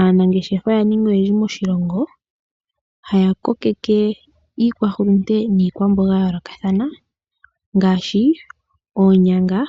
Aanangeshefa oya ninga oyendji moshilongo, haa kokeke iikwahulunde niikwamboga ya yoolokathana ngaashi; oonyanga